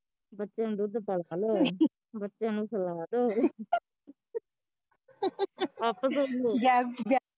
ਬੱਚਿਆ ਨੂੰ ਦੁੱਧ ਪਿਲਾ ਲੋ ਬੱਚਿਆ ਨੂੰ ਸਲਾਂ ਦੋ ਅੱਪ ਸੋਲੋ